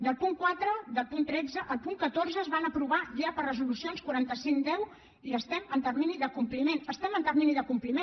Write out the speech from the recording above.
del punt quatre del punt tretze al punt catorze es van aprovar ja per resolució quaranta cinc x i estem en termini de compliment estem en termini de compliment